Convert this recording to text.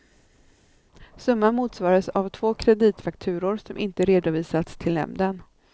Summan motsvarades av två kreditfakturor, som inte redovisats till nämnden.